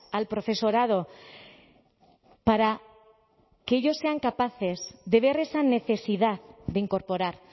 al profesorado para que ellos sean capaces de ver esa necesidad de incorporar